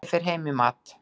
Ég fer heim í mat.